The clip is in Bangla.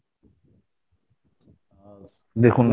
দেখুন